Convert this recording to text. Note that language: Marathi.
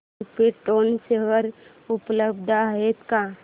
क्रिप्टॉन शेअर उपलब्ध आहेत का